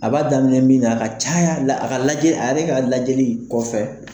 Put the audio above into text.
A b'a daminɛ min na a ka caya la a ka lajɛ a yɛrɛ ka lajɛ kɔfɛ.